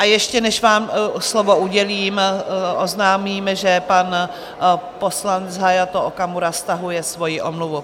A ještě než vám slovo udělím, oznámím, že pan poslanec Hayato Okamura stahuje svoji omluvu.